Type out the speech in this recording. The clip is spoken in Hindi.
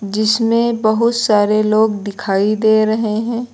जिसमें बहुत सारे लोग दिखाई दे रहे हैं।